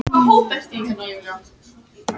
Hvassast verður á annesjum